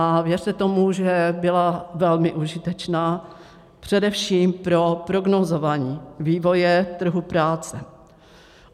A věřte tomu, že byla velmi užitečná, především pro prognózování vývoje trhu práce.